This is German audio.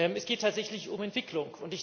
Es geht tatsächlich um Entwicklung.